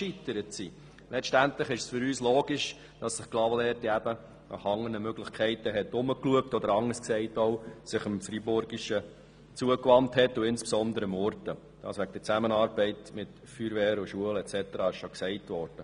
Es erscheint uns logisch, dass sich Clavaleyres letztlich nach anderen Möglichkeiten umgeschaut, sich dem Freiburgischen zugewandt und dort insbesondere mit Murten eine Zusammenarbeit betreffend Feuerwehr, Schulen und so weiter aufgebaut hat.